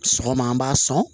Sɔgɔma an b'a sɔn